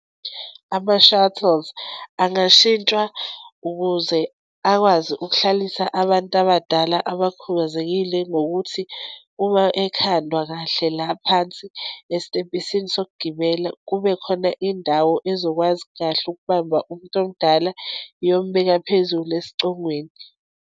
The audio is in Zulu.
Ama-shuttles angashintshwa ukuze akwazi ukuhlalisa abantu abadala abakhubazekile, ngokuthi uma ekhandwa kahle laphansi, esitebhisini sokugibela, kube khona indawo ezokwazi kahle ukubamba umuntu omdala, iyombeka phezulu esicongweni.